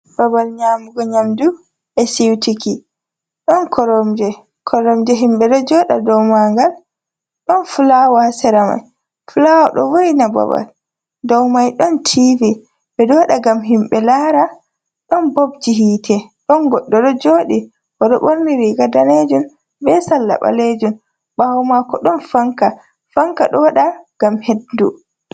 Babal nyamugo nyamdu e'sutiki. Ɗon koromje; koromje himɓe ɗo joɗa dou mangal. Ɗon fulawa ha sera mai, fulawa ɗo vo'ina babal. Dou mai ɗon tivi; ɓeɗo waɗa ngam himɓe lara. Ɗon bobji hite, ɗon goɗɗo ɗo joɗi oɗo ɓorni riga danejum, be salla ɓalejum. Ɓawo mako ɗon fanka; fanka ɗo waɗa ngam hendu.